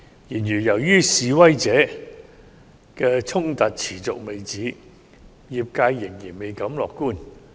然而，由於示威衝突持續未止，業界仍然未敢樂觀。